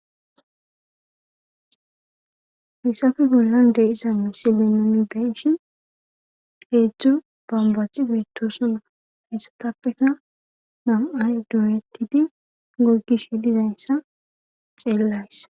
Hayssafe bollan de'isa misile nuni deyshi heedzdzu bambaci beettoosana hayssatappeka nam7aya dooyettidi gogishe dizayssa xeellays.